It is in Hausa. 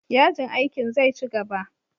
Yajin aikin zai ci gaba.